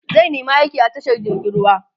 zai nema aiki a tashar jirgin ruwa